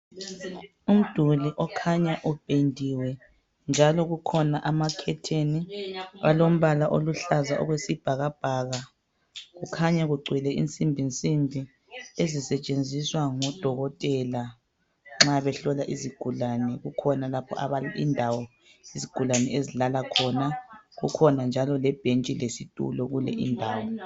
Umduli okhanya upendiwe njalo kukhona amakhetheni alombala oluhlaza okwesibhakabhaka lensimbi ezisetshenziswa ngudokotela nxa behlola izigulane kukhona lapho indawo izigulane ezilala khona kukhona njalo lebhentshi lesitulo kuyonale indawo